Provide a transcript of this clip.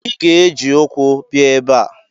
Ị ga-eji ukwu bia ebe a!